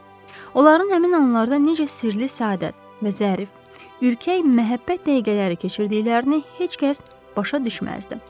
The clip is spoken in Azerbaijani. Onların həmin anlarda necə sirli səadət və zərif, ürkək məhəbbət dəqiqələri keçirdiklərini heç kəs başa düşməzdi.